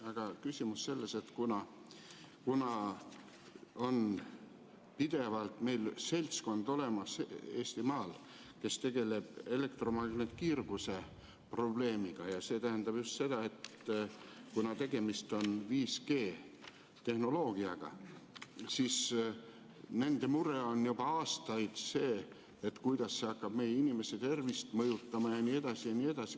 Aga küsimus on selles, et kuna meil on Eestimaal olemas seltskond, kes pidevalt tegeleb elektromagnetkiirguse probleemiga, ja see tähendab seda, et kuna tegemist on 5G-tehnoloogiaga, siis nende mure on juba aastaid see, kuidas hakkab meie inimeste tervist mõjutama jne.